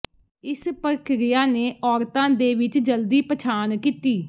ਇਸ ਪ੍ਰਕਿਰਿਆ ਨੇ ਔਰਤਾਂ ਦੇ ਵਿੱਚ ਜਲਦੀ ਪਛਾਣ ਕੀਤੀ